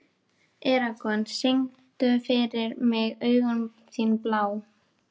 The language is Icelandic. Eragon, syngdu fyrir mig „Augun þín blá“.